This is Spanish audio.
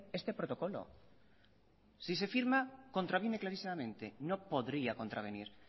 este protocolo si se firma contraviene clarísimamente no podría contravenir